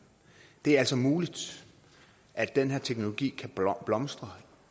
det er altså muligt at den her teknologi kan blomstre